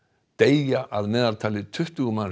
deyja að meðaltali tuttugu